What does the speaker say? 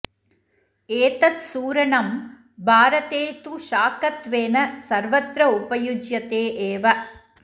एतत् सूरणं भारते तु शाकत्वेन सर्वत्र उपयुज्यते एव